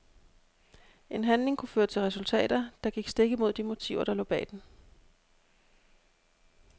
En handling kunne føre til resultater, der gik stik imod de motiver der lå bag den.